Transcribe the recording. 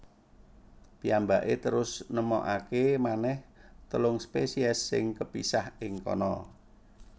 Piyambakè terus nemokakè manèh telung spèsiès sing kepisah ing kana